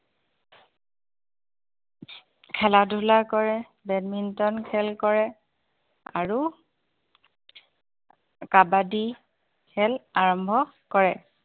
খেলা-ধূলা কৰে badminton খেল কৰে আৰু কাবাডী খেল আৰম্ভ কৰে